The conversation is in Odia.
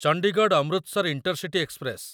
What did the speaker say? Chandigarh Amritsar intercity express